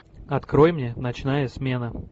открой мне ночная смена